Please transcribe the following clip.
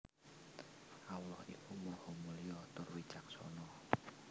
Allah iku Maha Mulya tur Wicaksana